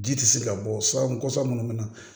Ji tɛ se ka bɔ sa kɔsa minnu bɛ na